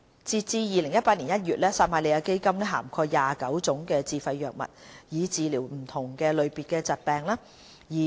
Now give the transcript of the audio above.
截至2018年1月，撒瑪利亞基金涵蓋29種自費藥物，以治療不同類別的疾病。